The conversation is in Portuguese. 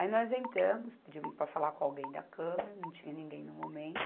Aí nós entramos, pedimos para falar com alguém da câmara, não tinha ninguém no momento.